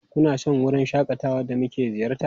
Kuna son wurin shakatawa da muka ziyarta?